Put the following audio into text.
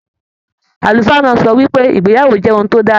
Àlùfáà náà sọ wípé, ìgbéyàwó jẹ ohùn to dára.